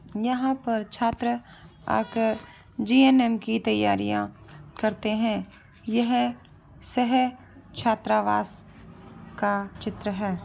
यहाँ पर छात्रा आ कर जी.एन.एम. की तैयारिया करते है। येह शहर छात्रावास का चित्र है।